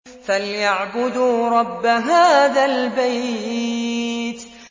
فَلْيَعْبُدُوا رَبَّ هَٰذَا الْبَيْتِ